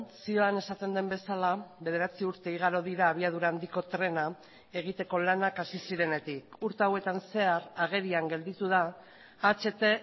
zioan esaten den bezala bederatzi urte igaro dira abiadura handiko trena egiteko lanak hasi zirenetik urte hauetan zehar agerian gelditu da aht